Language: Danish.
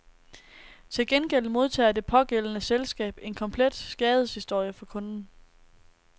Til gengæld modtager det pågældende selskab en komplet skadeshistorie for kunden.